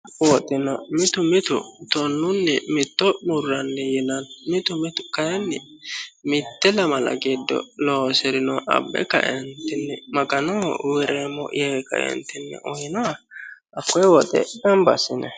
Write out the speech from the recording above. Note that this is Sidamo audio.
woxina mitu mitu tonnunni mitto murranni yina mitu mitu kayiinni mitte lamala giddo loosi'rino abbe kaentinni maganoho wi'reemmo yee kaentinne uhino hakkee woxe gamba assine